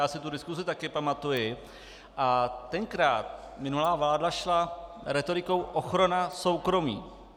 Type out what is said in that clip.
Já si tu diskusi také pamatuji a tenkrát minulá vláda šla rétorikou "ochrana soukromí".